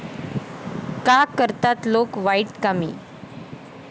का करतात लोक वाईट कामे?